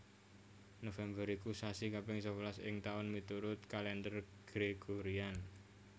November iku sasi kaping sewelas ing taun miturut Kalendher Gregorian